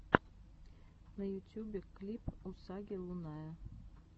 на ютубе клип усаги лунная